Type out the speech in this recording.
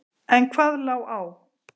En hvað lá á?